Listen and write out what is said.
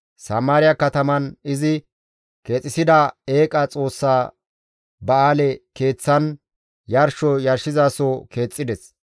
Samaariya kataman izi keexisida eeqa xoossa ba7aale keeththan yarsho yarshizaso keexxides.